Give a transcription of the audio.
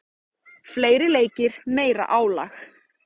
Fleiri leikir, meira álag.